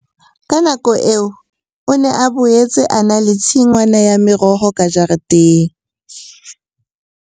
Ka nako eo o ne a boetse a na le tshingwana ya meroho ka jareteng.